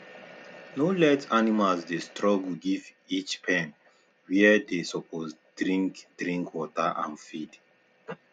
no let animals dey struggle give each pen where they suppose deink deink water and feed